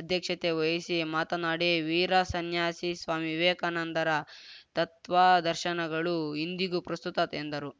ಅಧ್ಯಕ್ಷತೆ ವಹಿಸಿ ಮಾತನಾಡಿ ವೀರ ಸನ್ಯಾಸಿ ಸ್ವಾಮಿ ವಿವೇಕಾನಂದರ ತತ್ವಾದರ್ಶನಗಳು ಇಂದಿಗೂ ಪ್ರಸ್ತುತ ಎಂದರು